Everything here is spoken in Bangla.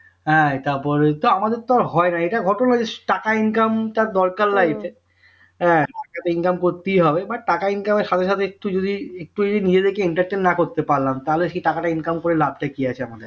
হ্যাঁ তারপরে আমাদের তো আর হয়না এটা ঘটনা যে টাকা income টা দরকার life এ income করতেই হবে but